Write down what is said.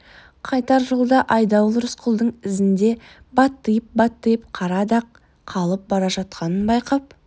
қайтар жолда айдауыл рысқұлдың ізінде баттиып-баттиып қара дақ қалып бара жатқанын байқап